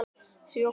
Sjö hvor.